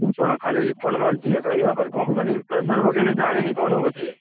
ଶୁଣ ଖାଲି refund ମାରୁଚି ଦେଖ ୟାପରେ company ବିଶ୍ବାସରେ ପକେଇଲେ ଜାଣିନି କଣ ହବ ସିଏ?